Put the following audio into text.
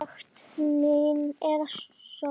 Sekt mín er söm.